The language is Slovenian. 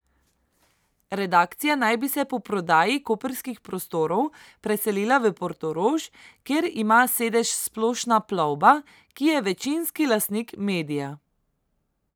Redakcija naj bi se po prodaji koprskih prostorov preselila v Portorož, kjer ima sedež Splošna plovba, ki je večinski lastnik medija.